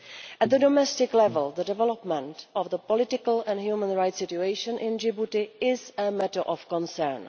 At the domestic level, the development of the political and human rights situation in Djibouti is a matter of concern.